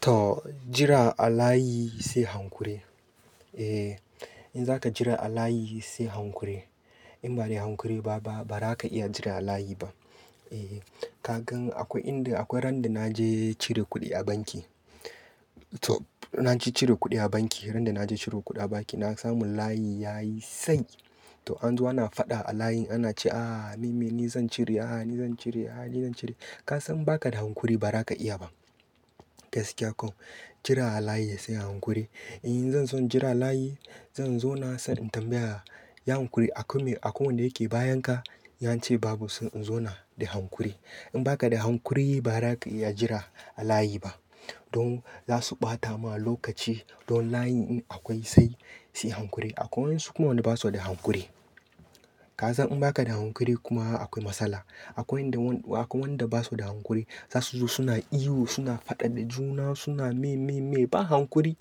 To jira a layi sai hankuri. Eh in zaka jira a layi sai hankuri. In ba da hankuri ba, ba ba ra ka iya jira a layi ba. E, ka gan akwai inda akwai ran da na je cire kuɗi a banki. To na je cire kuɗi a banki. Ran da na je cire kuɗi banki na samu layi yayi tsayi. To an zo ana faɗa a layin ana ce a, me me zan cire, a ni zan cire, a ni zan cire. Ka san baka da hankuri ba ra ka iya ba. Gaskiya koh jira a layi sai hankuri. In zan zo jira a layi zan zo na sai in tambaya, "yi haƙuri?" A komai, a kwai wanda yake bayan ka, in ya ce babu. Sai in zau na da hankuri. In baka da hankuri ba ra ka iya jira a layi ba. Don za su ɓata ma lokaci. Don layi in akwai sai, sai hankuri. Akwai wasu kuma wanda basu da hankuri. Ka san in baka da hankuri kuma akwai matsala. Akwai wanda, akwai wanda basu da hankuri. Za su zo suna ihu, suna faɗa da juna, suna me me me. Ba hankuri.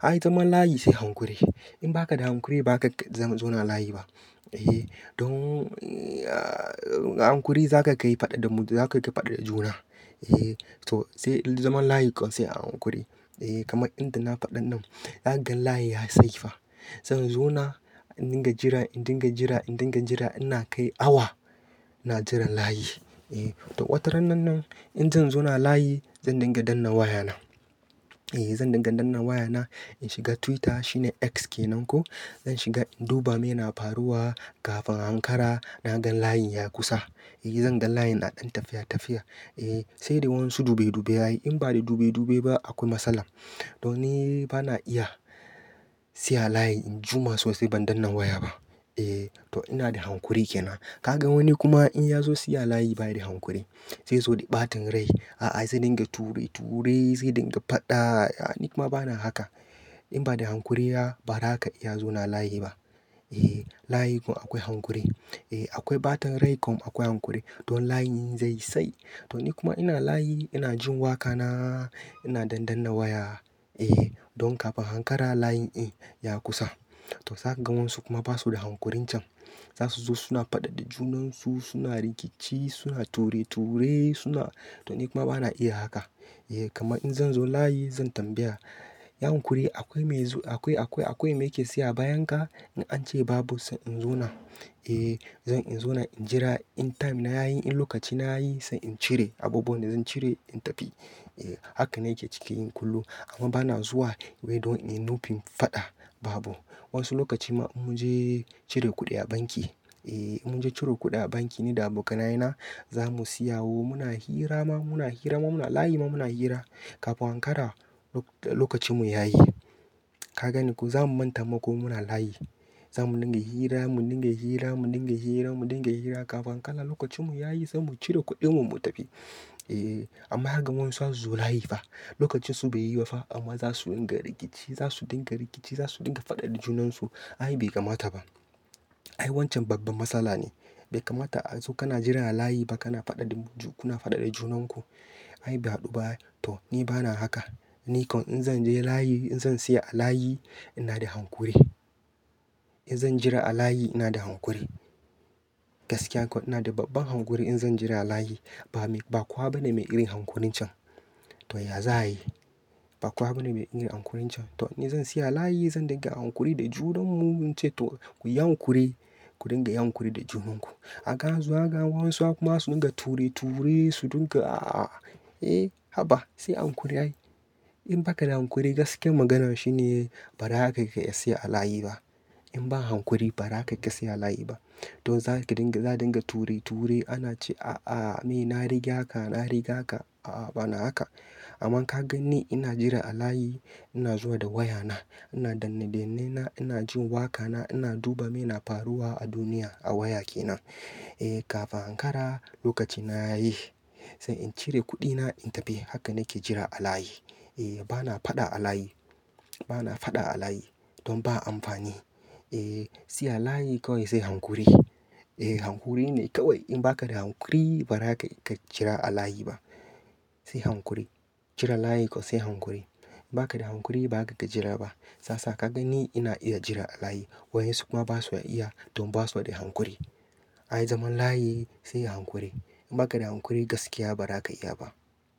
Ai zaman layi sai hankuri. In baka da hankuri ba ka ka zauna a layi ba. E, don, e, a hankuri za ka ka yi faɗa da mu, za ka ka faɗa da juna. E, to sai zaman layi kam sai a hankuri. E kamar inda na faɗaɗin zaka gan layi ya sai fa. Zan zo na indinga jira, in dinga jira, in dinga jira. Ina kai awa ina jiran layi. E to wata ran nan nan in zan zo na a layi zan dinga dannan waya na. E zan dinga danna waya na. In shiga Twitter shine X kenan ko. Zan shiga in duba me na faruwa. Kafin hankara na gan layi ya kusa. E zan gan layi na ɗan tafiya tafiya. E sai da wasu dube dube yayi. In ba da dube dube ba akwai matsala. To ni ba na iya siya layi in jima sosai ban dannan waya ba. E to ina da hankuri ke nan. Ka gan wani kuma in ya zo tasayawa layi ba shi da hankuri. Sai zo da ɓatan rai. A'a sai dinga ture ture sai dinga faɗa. Ni kuma ba na haka. In ba da hankuri ba, ba ra ka iya zo na layi ba. E layi kam akwai hankuri. E akwai ɓatan rai kam akwai hankuri. Don layi in zai tsayi. To ni kuma ina layi ina jin wa ka na ina dan danna waya. E don kafin hankara layi in ya kusa. To za ka gan wasu kuma basu da hankurin can. Za su zo suna faɗa da junan su, suna rikici suna ture ture suna. To ni kuma ba na iya haka. E kamar in zan zo layi zan tambaya, "ya hankuri?" Akwai me zo akwai, akwai, akwai me yake saya a bayan ka? In an ce babu sai in zo na. E zan in zo na in jira in time na yayi. In lokaci na yayi sai in cire abubuwan da zan cire in tafi. E haka nake cikin kullum. Amma ba na zuwa wai don in nufin faɗa babu. Wasu lokaci ma in mun je cire kuɗi a banki. E in mun je cire kuɗi a banki ni da abokanaye na. Za mu siya wo muna hira ma, muna hira ma muna layi ma muna hira. Kafin hankara lokacin mu yayi. Ka gani ko za mu manta ma kuma muna layi. Za mu dinga hira, mu dinga hira, mu dinga hira, mu dinga hira. Kafin hankala lokacin mu yayi sai mu cire kuɗin mu mu tafi. E amma ka gan wasu za su zo layi fa. Lokacin su bai yi ba fa amma za su dinga rikici, za su dinga rikici, za su dinga faɗa da junan su. Ai bai kamata ba. Ai wancan babban matsala ne. Bai kamata a zo kana jira a layi ba kana faɗa da, kuna faɗa da junan ku. Ai bai haɗu ba. To ni ba na haka. Ni kam in zan je layi, in zan siya a layi ina da hankuri. In zan jira a layi ina da hankuri. Gaskiya kam ina da babban hankuri in zan jira a layi. Ba me, ba kowa bane mai irin hankulin can. To ya za a yi? Ba kowa bane mai irin hankurin can. To ni zan siya layi zan dinga a hankuri da junan mu in ce to ku yi hankuri, ku dinga yi hankuri da junan ku. A ga zuwa ka gan wasu kuma su dinga ture ture su dinga a. E haba sai a hankuri ai. In baka da hankuri gaskiyar magana shine ba ra ka iya siya a layi ba. In ba hankuri ba ra ka iya siya layi ba. Don za ki dinga, za dinga ture ture ana cewa a a ni na riga ka, na riga ka. A a bana haka. Amma ka gan ni ina jira a layi ina zuwa da waya na. Ina danne danne na ina jin wa ka na ina duba me na faruwa a duniya a waya ke nan. E kafin hankara lokaci na yayi. Sai in cire kuɗi na in tafi. Haka nake jira a layi. E bana faɗa a layi. Bana faɗa a layi. Don ba amfani. E siya layi kawai sai hankuri. E hankuri ne kawai. In baka da hankuri ba ra ka ka jira a layi ba. Sai hankuri. Jira layi kam sai hankuri. Baka da hankuri ba ka ka jira ba. Sasa ka gani ina iya jira a layi. Wai ensu kuma basu iya don basu da hankuri. Ai zaman layi sai hankuri. In baka da hankuri gaskiya ba ra ka iya ba.